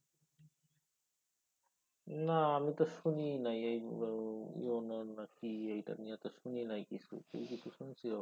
না আমি তো শুনিই নাই এই EON ওন নাকি। এইটা নিয়া তো শুনিনাই কিছু। তুই কি কিছু শুনছো?